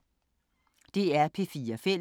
DR P4 Fælles